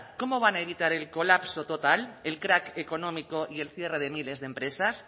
cómo van a evitar el colapso total el crac económico y el cierre de miles de empresas